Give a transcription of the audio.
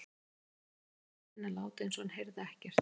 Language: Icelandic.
Kobbi tók þann kostinn að láta eins og hann heyrði ekkert.